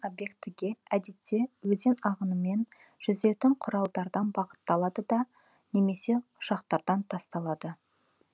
объектіге әдетте өзен ағынымен жүзетін құралдардан бағытталады да немесе ұшақтардан тасталады